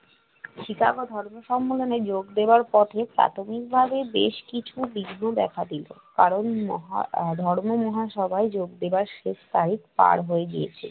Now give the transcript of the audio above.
Chicago ধর্ম সম্মেলনে যোগ দেওয়ার পথে প্রাথমিকভাবে বেশ কিছু বিঘ্ন দেখা দিল। কারণ মহা আহ ধর্ম মহাসভায় যোগ দেওয়ার শেষ তারিখ পাড় হয়ে গিয়েছে